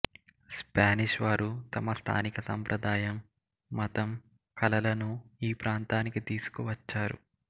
Spanish వారు తమ స్థానిక సాంప్రదాయం మతం కళలను ఈప్రాంతానికి తీసుకు వచ్చారు